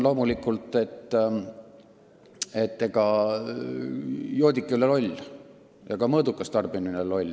Loomulikult, et ega joodik ei ole loll ja ka mõõdukas tarbija ei ole loll.